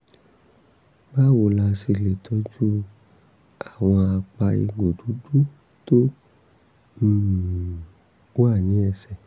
báwo la ṣe lè tọ́jú àwọn àpá egbò dúdú tó um wà ní ẹsẹ̀?